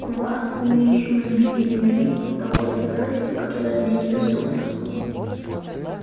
вас умеющую любить и ненавидеть с такой страстью которая мне недоступна